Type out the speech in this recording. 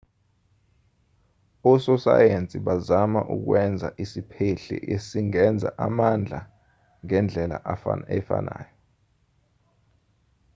ososayensi bazama ukwenza isiphehli esingenza amandla ngendlela efanayo